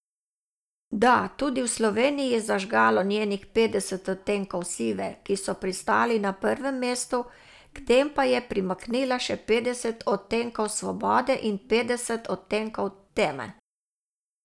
Da, tudi v Sloveniji je zažgalo njenih Petdeset odtenkov sive, ki so pristali na prvem mestu, k tem pa je primaknila še Petdeset odtenkov svobode in Petdeset odtenkov teme.